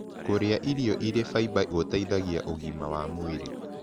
Kũrĩa irio ĩrĩ faĩba gũteĩthagĩa ũgima wa mwĩrĩ